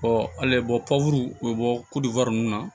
bɔuru u bɛ bɔ ninnu na